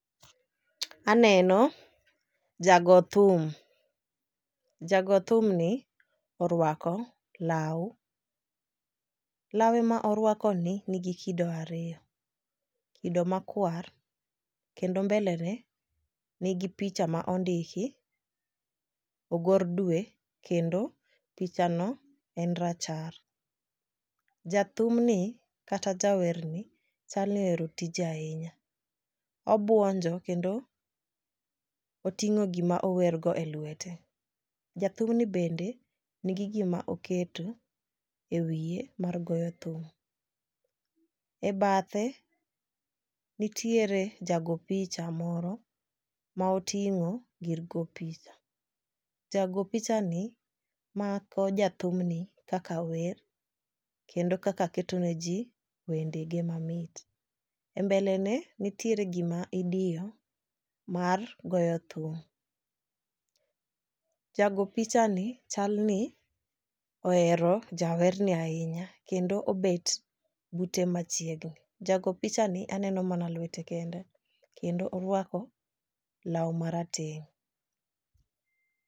Aneno jago thum jago thum ni orwako law. Lawe ma orwako ni nigi kido ariyo kido makwar kendo mbele ne nigi picha ma ondiki ogor dwe kendo picha no en rachar. Jathum ni kata jawer ni chalni ohero tije ahinya obuonjo kendo oting'o gima ower go e lwete. Jathum ni bende nigi gima oketo ewiye mar goyo thum. E bathe nitiere jago picha moro ma oting'o gir go picha jago picha ni mako jathum ni kaka wer kendo kaka keto ne ji wende ge mamit. E mbele ne nitiere gima idiyo mar goyo thum. Jago picha ni chal ni ohero jawer ni ahinya kendo obet bute machiegni. Jago picha ni aneno mana lwete kende kendo orwako law marateng'.